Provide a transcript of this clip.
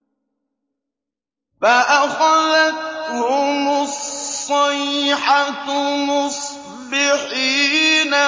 فَأَخَذَتْهُمُ الصَّيْحَةُ مُصْبِحِينَ